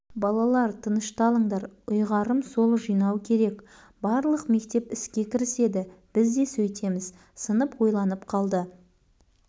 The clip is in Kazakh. балалар тынышталыңдар ұйғарым сол жинау керек барлық мектеп іске кіріседі біз де сөйтеміз сынып ойланып қалды